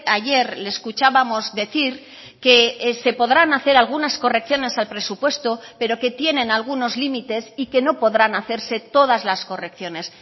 ayer le escuchábamos decir que se podrán hacer algunas correcciones al presupuesto pero que tienen algunos límites y que no podrán hacerse todas las correcciones